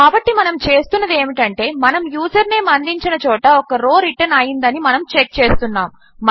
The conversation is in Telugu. కాబట్టి మనము చేస్తున్నది ఏమిటంటే మనము యూజర్ నేం అందించిన చోట ఒక రో రిటర్న్ అయ్యిందని మనము చెక్ చేస్తున్నాము